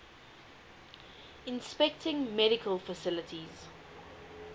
inspecting medical facilities